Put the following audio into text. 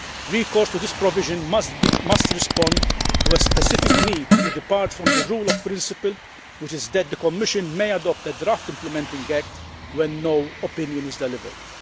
Recourse to this provision must respond to a specific need to depart from the rule of principle, which is that the Commission may adopt a draft implementing act when no opinion is delivered.